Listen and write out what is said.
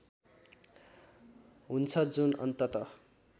हुन्छ जुन अन्तत